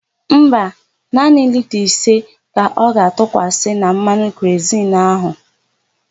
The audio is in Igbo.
Mba, naanị lita ise ka ọ ga-atụkwasị na mmanụ kerozinu áhụ̀.